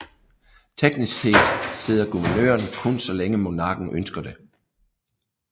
Teknisk set sidder guvernøren kun så længe monarken ønsker det